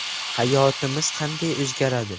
Hayotimiz qanday o‘zgaradi?.